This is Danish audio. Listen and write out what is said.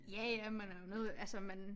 Ja ja man er jo noget altså man